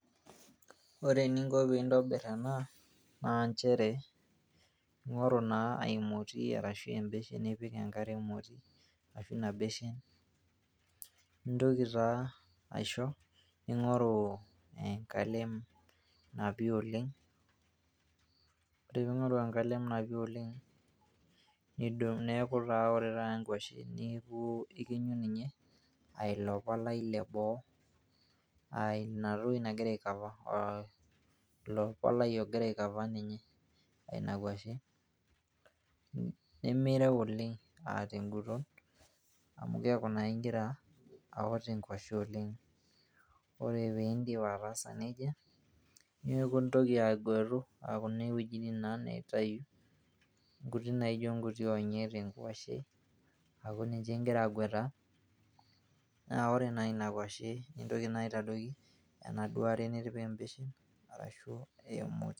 Ore eninko peintobir ena na nchere ,ingoru naa aimoti ashu ingoru nipike enkare emoti nintoki taa aisho ningoru enkalem napi oleng, ore peingoru enkalem napi oleng nidung neaku ore taata nkwasheni ailokolai leboo aa inatoki nagira ai cover ninye teina bae nimireu oleng aa tengolon, keaku naa ingira aot enkwashe oleng, ore peindip ataasa nejia neaku ingil agwetu kuna wuejitin torok nkuiti naijo nkuti onyek tenkwashe ingira agwata, na ore taa tenkwashe naitoki naa aitadoki enaduo aare nitipa embeshen e moti.